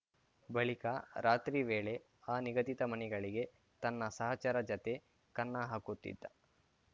ಬಳಿಕ ರಾತ್ರಿ ವೇಳೆ ಆ ನಿಗದಿತ ಮನೆಗಳಿಗೆ ತನ್ನ ಸಹಚರ ಜತೆ ಕನ್ನ ಹಾಕುತ್ತಿದ್ದ